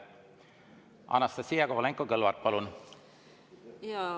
Anastassia Kovalenko-Kõlvart, palun!